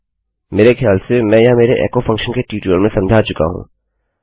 मेरे खयाल से मैं यह मेरे एको फंक्शन के ट्यूटोरियल में समझा चुका हूँ